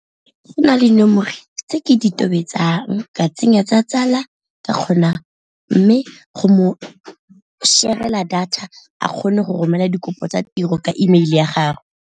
Go na le nomoro tse ke di tobetsang ka tsenya tsa tsala ke kgona, mme go mo share-rela data a kgone go romela dikopo tsa tiro ka email ya gagwe.